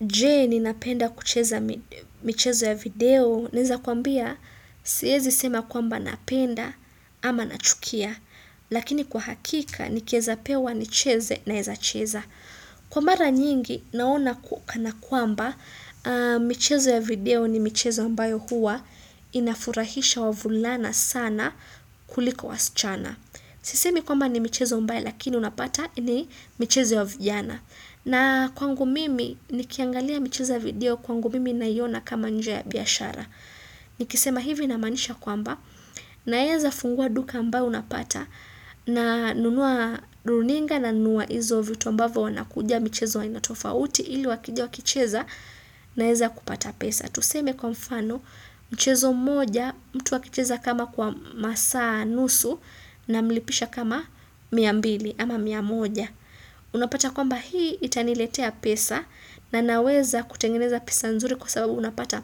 Je, ninapenda kucheza michezo ya video?. Naweza kuambia siwezi sema kwamba napenda ama nachukia. Lakini kwa hakika nikieza pewa nicheze naeza cheza. Kwa mara nyingi naona kana kwamba michezo ya video ni michezo ambayo huwa inafurahisha wavulana sana kuliko wasichana. Sisemi kwamba ni michezo mbaya lakini unapata ni michezo ya vijana. Na kwangu mimi, nikiangalia michezo ya video kwangu mimi naiona kama njia ya biashara. Nikisema hivi na maanisha kwamba, naeza fungua duka ambao unapata, na nunua runinga na nunua izo vitu ambavyo wanakuja michezo aina tofauti ili wakija wakicheza, naeza kupata pesa. Tuseme kwa mfano, mchezo moja, mtu akicheza kama kwa masaa nusu namlipisha kama mia mbili ama mia moja. Unapata kwamba hii itaniletea pesa na naweza kutengeneza pesa nzuri kwa sababu unapata